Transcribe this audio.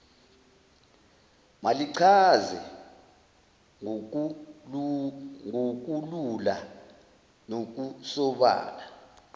malichaze ngokulula nokusobala